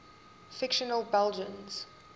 fictional belgians